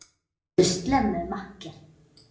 Veldu slemmu, makker.